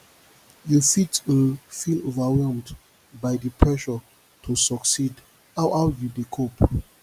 you fit um feel overwhelmed by di pressure to succeed how how you dey cope